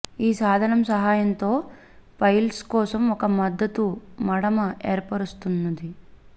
ఈ సాధనం సహాయంతో పైల్స్ కోసం ఒక మద్దతు మడమ ఏర్పరుస్తుంది